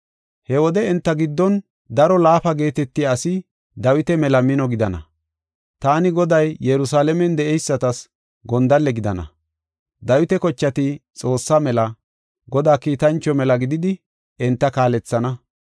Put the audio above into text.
He wode enta giddon daro laafa geetetiya asi Dawita mela mino gidana. Taani Goday Yerusalaamen de7eysatas gondalle gidana. Dawita kochati Xoossa mela, Godaa kiitancho mela gididi enta kaalethana.